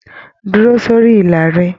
Dúró sórí ìlà rẹ!